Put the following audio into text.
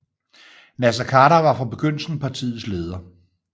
Naser Khader var fra begyndelsen partiets leder